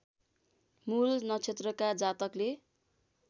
मूल नक्षत्रका जातकले